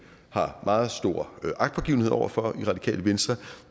har meget stor agtpågivenhed over for i radikale venstre